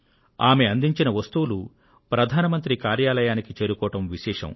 ఆమె అందించిన వస్తువులు ప్రధాన మంత్రి కార్యాలయానికి చేరుకోవడం విశేషం